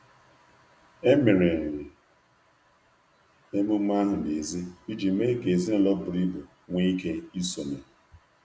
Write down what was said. Emere emume ahụ n’èzí iji mee ka ezinụlọ buru ibu nwee ike isonye.